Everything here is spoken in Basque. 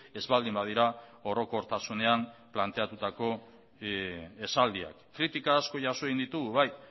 ez baldin badira orokortasunean planteatutako esaldiak kritika asko jaso egin ditugu bai